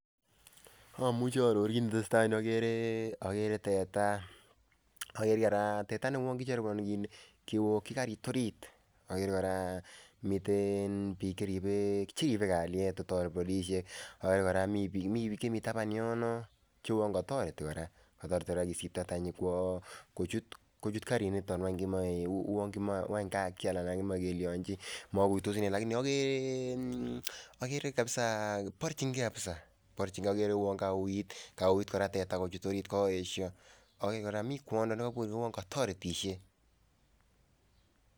Amuche aaror kit netesetai eng yu agere teta ,agere kora teta ne uon kijaribuneni kiokyi karit orit, agere koraa cmmiten bik cheribe kalyet, agere koraa mi bik chemi taban yon che uon kotoreti koraa kisipto tenyi kochut kariniton.